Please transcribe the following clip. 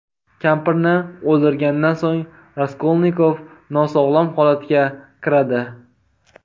Kampirni o‘ldirgandan so‘ng Raskolnikov nosog‘lom holatga kiradi.